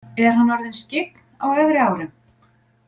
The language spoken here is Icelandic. Er hann orðinn skyggn á efri árum?